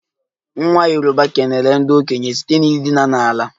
Nwa yoruba kelere ndị okenye site n'ịdina ala